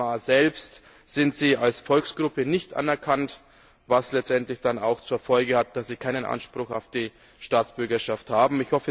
In Myanmar selbst sind sie als Volksgruppe nicht erkannt, was letztendlich auch zur Folge hat, dass sie keinen Anspruch auf die Staatsbürgerschaft haben.